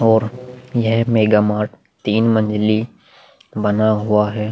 और यह mega mart तीन मंजली बना हुआ है।